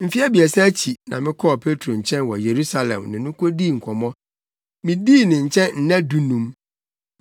Mfe abiɛsa akyi na mekɔɔ Petro nkyɛn wɔ Yerusalem ne no kodii nkɔmmɔ. Midii ne nkyɛn nna dunum.